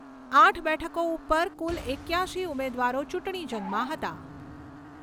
આઠ બેઠકો ઉપર કુલ એક્યાશી ઉમેદવારો ચૂંટણી જંગમાં હતા.